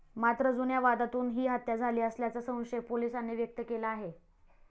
मात्र, जुन्या वादातून ही हत्या झाली असाल्याचा संशय पोलीसांनी व्यक्त केला आहे.